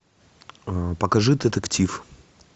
покажи детектив